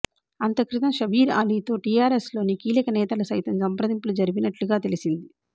అంతక్రితం షబ్బీర్ అలీతో టిఆర్ఎస్లోని కీలక నేతలు సైతం సంప్రదింపులు జరిపినట్లుగా తెలిసింది